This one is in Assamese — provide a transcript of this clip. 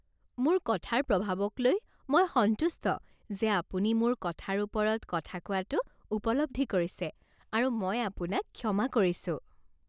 মোৰ কথাৰ প্ৰভাৱক লৈ মই সন্তুষ্ট যে আপুনি মোৰ কথাৰ ওপৰত কথা কোৱাটো উপলব্ধি কৰিছে আৰু মই আপোনাক ক্ষমা কৰিছোঁ।